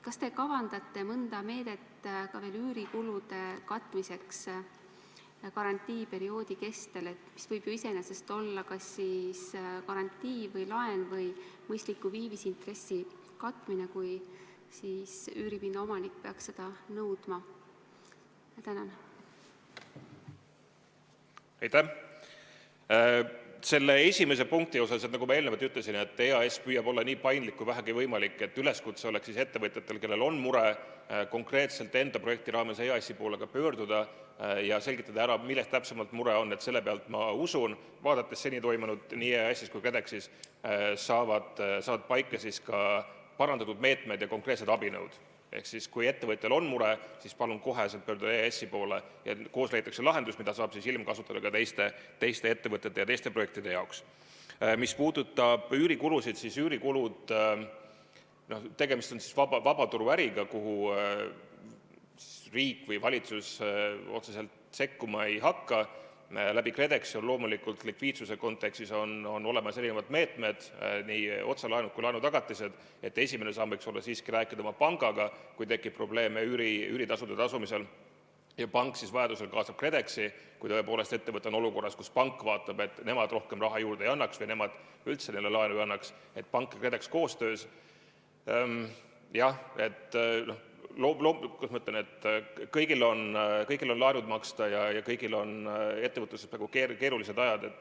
Kas te kavandate mõnda meedet üürikulude katmiseks karantiiniperioodi kestel – see võib iseenesest olla kas garantii või laen või mõistliku viiviseintressi katmine –, kui üüripinna omanik peaks seda nõudma?